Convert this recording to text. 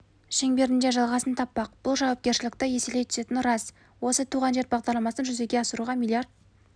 шеңберінде жалғасын таппақ бұл жауапкершілікті еселей түсетіні рас осы туған жер бағдарламасын жүзеге асыруға млрд